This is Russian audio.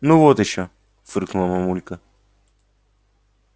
ну вот ещё фыркнула мамулька